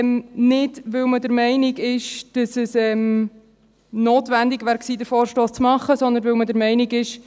Nicht, weil man der Meinung ist, dass es notwendig war, den Vorstoss zu machen, sondern weil man der Meinung ist: